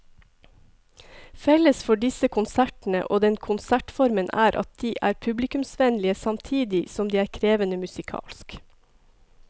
Felles for disse konsertene og denne konsertformen er at de er publikumsvennlige samtidig som de er krevende musikalsk.